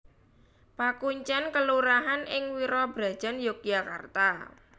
Pakuncèn kelurahan ing Wirabrajan Yogyakarta